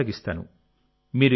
దాన్ని కొనసాగిస్తాను